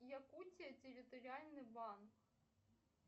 якутия территориальный банк